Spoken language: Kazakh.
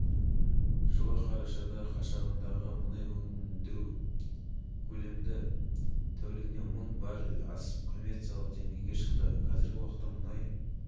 жалғасуда әзірге ол арнайы операцияның мақсаттары мен міндеттері жариялаған жоқ ол туралы операция аяқталған соң